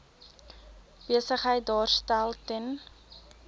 besigheid daarstel ten